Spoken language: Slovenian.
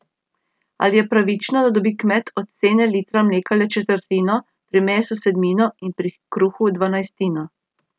Ali je pravično, da dobi kmet od cene litra mleka le četrtino, pri mesu sedmino in pri kruhu dvanajstino.